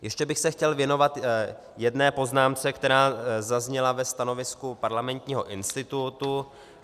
Ještě bych se chtěl věnovat jedné poznámce, která zazněla ve stanovisku Parlamentního institutu.